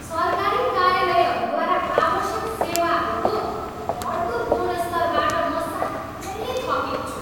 सरकारी कार्यालयहरूद्वारा आवश्यक सेवाहरूको घट्दो गुणस्तरबाट म साँच्चै थकित छु।